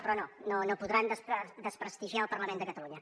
però no no podran desprestigiar el parlament de catalunya